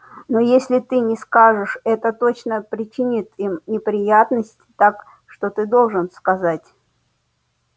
но если ты не скажешь это тоже причинит им неприятность так что ты должен сказать